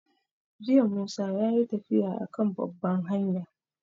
Jiya Musa yayi tafiya a kan babban hanya